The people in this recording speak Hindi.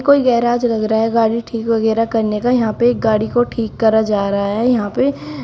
कोई गैराज लग रहा है गाड़ी ठीक वगैरा करने का। यहां पे एक गाड़ी को ठीक करा जा रहा है। यहां पे --